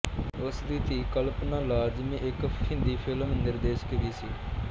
ਉਸਦੀ ਧੀ ਕਲਪਨਾ ਲਾਜਮੀ ਇੱਕ ਹਿੰਦੀ ਫਿਲਮ ਨਿਰਦੇਸ਼ਕ ਵੀ ਸੀ